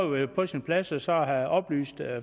været på sin plads så så at have oplyst